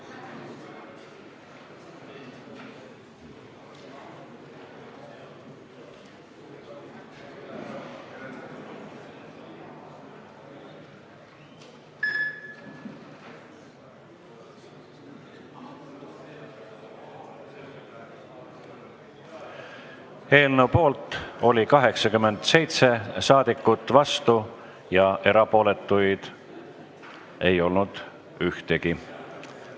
Hääletustulemused Eelnõu poolt oli 87 saadikut, vastuolijaid ega erapooletuid ei olnud ühtegi.